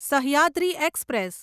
Sahyadri express